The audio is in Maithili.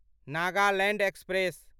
नागालैंड एक्सप्रेस